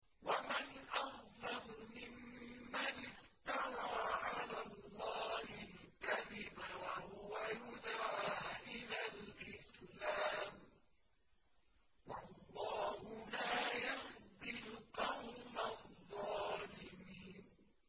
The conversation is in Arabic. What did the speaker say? وَمَنْ أَظْلَمُ مِمَّنِ افْتَرَىٰ عَلَى اللَّهِ الْكَذِبَ وَهُوَ يُدْعَىٰ إِلَى الْإِسْلَامِ ۚ وَاللَّهُ لَا يَهْدِي الْقَوْمَ الظَّالِمِينَ